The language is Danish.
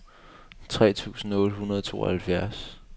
tre tusind otte hundrede og tooghalvfjerds